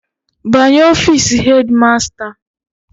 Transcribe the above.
Banye ofiisi hedi masta.